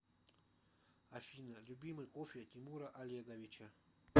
афина любимый кофе тимура олеговича